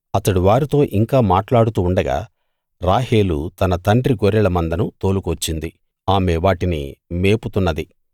అతడు వారితో ఇంకా మాట్లాడుతూ ఉండగా రాహేలు తన తండ్రి గొర్రెల మందను తోలుకువచ్చింది ఆమె వాటిని మేపుతున్నది